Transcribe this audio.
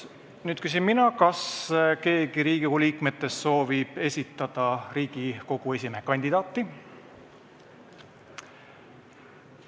Nüüd ma küsin, kas keegi Riigikogu liikmetest soovib esitada Riigikogu esimehe kandidaati.